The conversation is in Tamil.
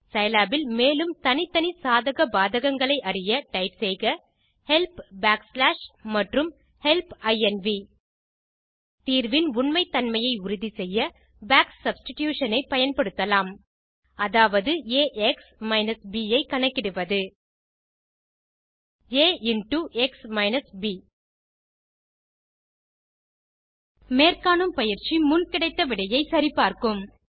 சிலாப் இல் மேலும் தனித்தனி சாதக பாதகங்களை அறிய டைப் செய்க ஹெல்ப் பேக்ஸ்லாஷ் மற்றும் ஹெல்ப் இன்வ் தீர்வின் உண்மைத் தன்மையை உறுதி செய்ய பாக் சப்ஸ்டிடியூஷன் ஐ பயன்படுத்தலாம் அதாவது ax ப் ஐ கணக்கிடுவது ஆ இன்ரோ எக்ஸ் மைனஸ் ப் மேற்காணும் பயிற்சி முன் கிடைத்த விடையை சரி பார்க்கும்